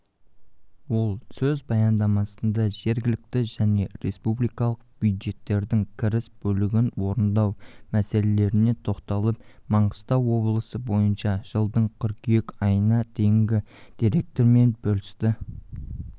ол өз баяндамасында жергілікті және республикалық бюджеттердің кіріс бөлігін орындау мәселелеріне тоқталып маңғыстау облысы бойынша жылдың қйыркүйек айына дейінгі деректермен бөлісті